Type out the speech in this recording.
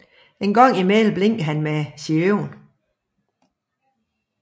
Engang imellem blinker HAN med sine øjne